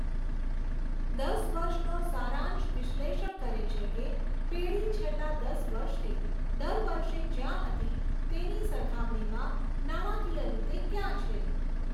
દસ વર્ષનો સારાંશ વિશ્લેષણ કરે છે કે પેઢી છેલ્લાં દસ વર્ષથી દર વર્ષે જ્યાં હતી તેની સરખામણીમાં નાણાકીય રીતે ક્યાં છે.